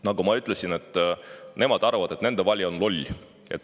Nagu ma ütlesin, nemad arvavad, et nende valija on loll.